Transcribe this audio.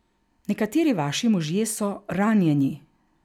Nekateri vaši možje so ranjeni.